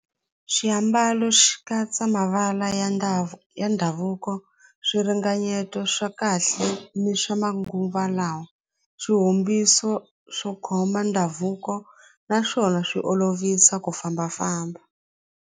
Xiambalo xi katsa mavala ya ya ndhavuko swiringanyeto swa kahle ni swa manguva lawa swihumbiso swo khoma ndhavuko naswona swi olovisa ku fambafamba.